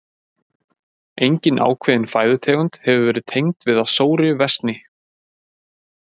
Engin ákveðin fæðutegund hefur verið tengd við að sóri versni.